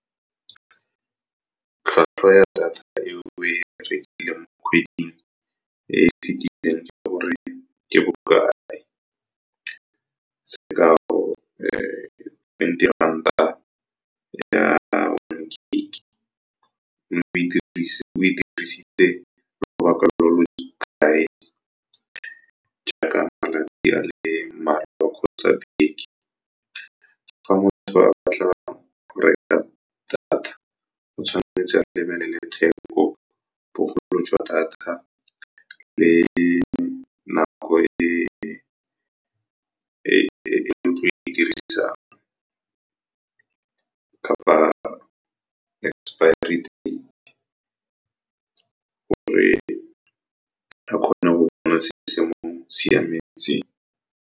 Tlhwatlhwa ya data eo oe rekileng kgwedi e e fetileng ke gore ke bokae, sekao twenty ranta ya one gig-e, mme o e dirisitse lobaka lo lo kae jaaka malatsi a le mararo kgotsa beke. Fa batho ba batla go reka data, o tshwanetse a lebelele theko, bogolo jwa data le nako e ke tlo e dirisang kapa expiry date, gore a kgone go bona se se mo siametseng.